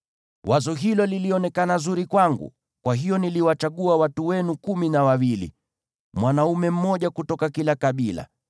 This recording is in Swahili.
Wazo hilo lilionekana zuri kwangu; kwa hiyo niliwachagua watu wenu kumi na wawili, mwanaume mmoja kutoka kila kabila.